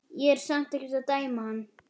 Ég er samt ekkert að dæma hann.